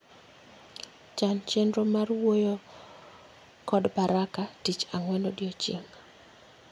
Chan chenro mar wuoyokod Baraka ticn ang'wen odiechieng'